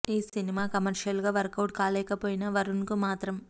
ఈ సినిమా కమర్షియల్ గా వర్క్ అవుట్ కాలేకపోయిన వరుణ్ కు మాత్రం